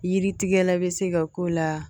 Yiri tigɛ la bɛ se ka k'o la